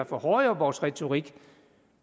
for hårde i vores retorik